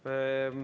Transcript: Aitäh!